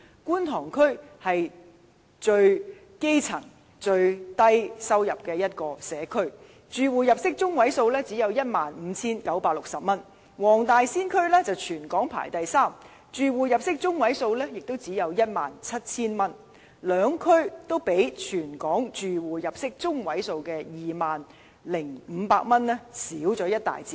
觀塘區是最基層、最低收入的社區，住戶入息中位數只有 15,960 元；黃大仙區則全港排行第三位，住戶入息中位數也只有 17,000 元，兩區的數字均與全港住戶入息中位數的 20,500 元相差一大截。